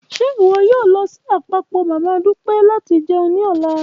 Ṣe iwọ yoo lọ si apapọ mama Dupe lati jẹun ni ọla?